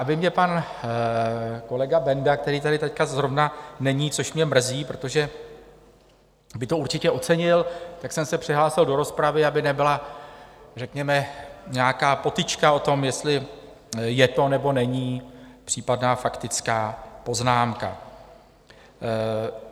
Aby mě pan kolega Benda, který tady teď zrovna není, což mě mrzí, protože by to určitě ocenil, tak jsem se přihlásil do rozpravy, aby nebyla řekněme nějaká potyčka o tom, jestli je to nebo není případná faktická poznámka.